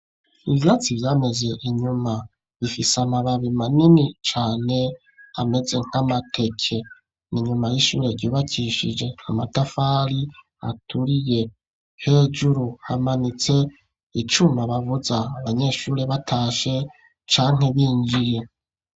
Ivyatsi vyameze inyuma bifise amababi manini cane ameze nk'amateke ninyuma y'ishure ryubakishije amatafari aturiye hejuru hamanitse icuma bavuza abanyeshuri batashe canke binjiye.